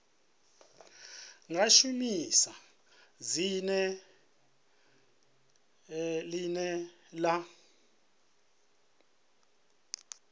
nga shumisa dzina ḽine ḽa